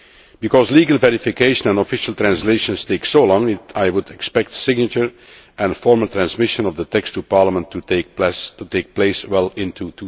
Because legal verification and official translations take so long, I would expect signature and formal transmission of the text to Parliament to take place well into